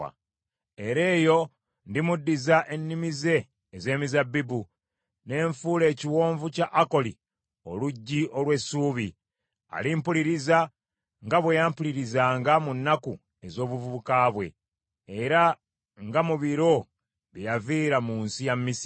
Era eyo ndimuddiza ennimiro ze ez’emizabbibu, ne nfuula Ekiwonvu kya Akoli oluggi olw’essuubi. Alimpuliriza nga bwe yampulirizanga mu nnaku ez’obuvubuka bwe, era nga mu biro bye yaviira mu nsi ya Misiri.